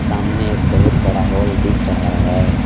सामने एक बहुत बड़ा हॉल दिख रहा है।